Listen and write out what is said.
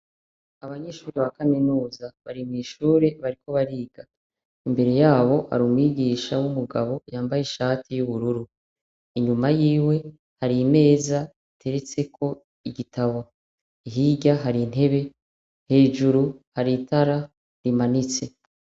Abanyeshure ba kaminuza bari mw'ishure, bariko bariga. Imbere yabo hari umwigisha w'umugabo yambaye ishati y'ubururu. Inyuma yiwe hari imeza iteretseko igitabo. Hirya hari intebe, hejuru hari itara rimanitse.